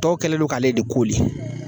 Tɔw kɛlen lo k'ale de koli